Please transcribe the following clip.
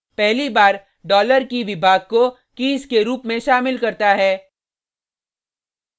पहली बार डॉलर की$key विभाग को कीज़ के रुप में शामिल करता है